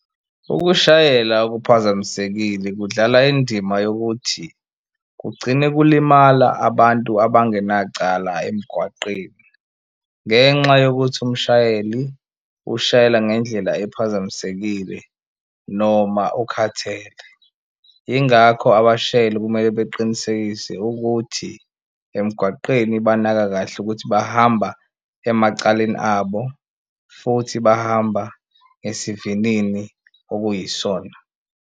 Ukushayela okuphazamisekile kudlala indima yokuthi kugcine kulimala abantu abangenacala emgwaqeni ngenxa yokuthi umshayeli ushayela ngendlela ephazamisekile noma ukhathele. Ingakho abashayeli kumele beqinisekise ukuthi emgwaqeni banaka kahle ukuthi bahamba emacaleni abo futhi bahamba ngesivinini okuyisona.